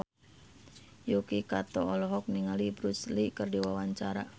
Yuki Kato olohok ningali Bruce Lee keur diwawancara